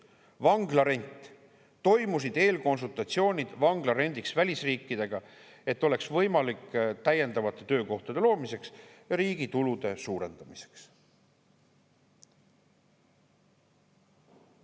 Vanglarent – toimusid eelkonsultatsioonid vanglarendiks välisriikidega, et see oleks võimalik täiendavate töökohtade loomiseks ja riigi tulude suurendamiseks.